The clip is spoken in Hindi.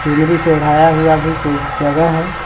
चुनरी से ओढ़ाया हुआ भी कोई जगह है।